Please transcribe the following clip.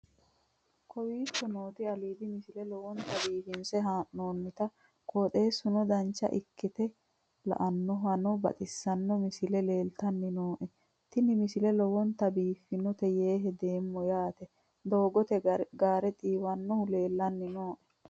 kowicho nooti aliidi misile lowonta biifinse haa'noonniti qooxeessano dancha ikkite la'annohano baxissanno misile leeltanni nooe ini misile lowonta biifffinnote yee hedeemmo yaate doogote gaare xiiwannohu leelanni nooe